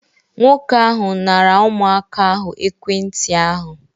Nwoke ahụ nara ụmụaka ahụ ekwentị ahụ